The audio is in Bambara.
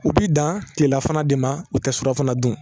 U b'i dan tilelafana de ma u tɛ surafana dun